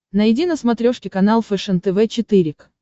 найди на смотрешке канал фэшен тв четыре к